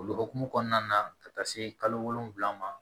O hukumu kɔnɔna na ka taa se kalo wolonwula ma